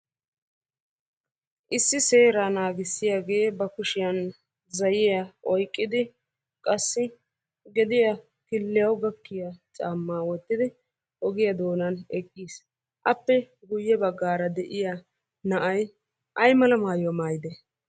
Issi seeraa naagissiyagee ba kushiyan zayyiya oyiqqidi qassi gediya killiyawu gakkiya caammaa wottidi ogiya doonan eqqis. Appe guyye baggaara de'iya na'ay ayimala mayuwa mayide?